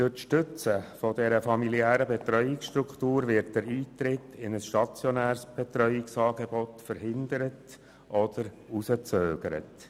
Durch das Stützen dieser familiären Betreuungsstruktur wird der Eintritt in ein stationäres Betreuungsangebot verhindert oder hinausgezögert.